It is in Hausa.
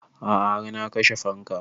A'a har na kashe fanka